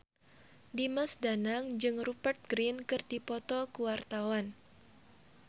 Dimas Danang jeung Rupert Grin keur dipoto ku wartawan